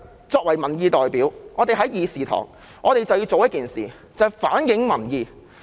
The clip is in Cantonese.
作為民意代表，我們在議事堂便要反映民意。